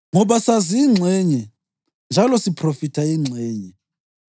Ngoba sazi ingxenye, njalo siphrofitha ingxenye,